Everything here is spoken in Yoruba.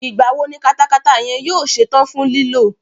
Ìgbà wo ni katakata yẹn yóò ṣe tán fún lílò?